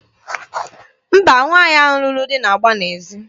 Mba, nwaanyị ahụ lụrụ di na-agba n'ezi.